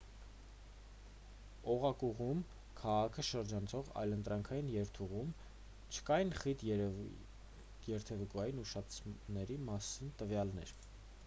օղակուղում քաղաքը շրջանցող այլընտրանքային երթուղում չկային խիտ երթևեկության ուշացումների մասին տվյալներ